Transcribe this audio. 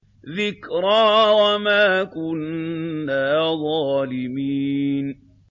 ذِكْرَىٰ وَمَا كُنَّا ظَالِمِينَ